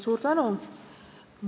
Suur tänu!